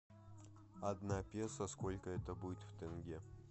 одна песо сколько это будет в тенге